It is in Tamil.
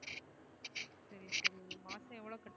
மாசம் எவ்ளோ காட்டுவ